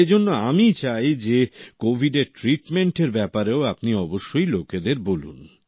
এজন্য আমি চাই যে কোভিডের ট্রিটমেন্টএর ব্যাপারেও আপনি অবশ্যই লোকেদের বলুন